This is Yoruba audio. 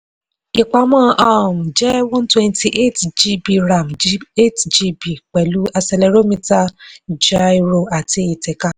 ìpamọ́ um jẹ́ one twenty eight gb ram eight gb pẹ̀lú accelerometer gyro àti ìtẹ̀ka.